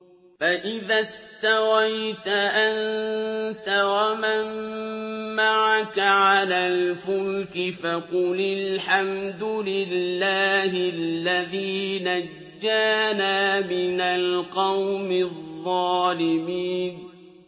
فَإِذَا اسْتَوَيْتَ أَنتَ وَمَن مَّعَكَ عَلَى الْفُلْكِ فَقُلِ الْحَمْدُ لِلَّهِ الَّذِي نَجَّانَا مِنَ الْقَوْمِ الظَّالِمِينَ